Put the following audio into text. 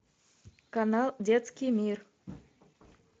канал детский мир